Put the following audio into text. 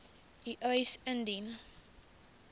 u eis indien